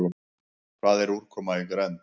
Hvað er úrkoma í grennd?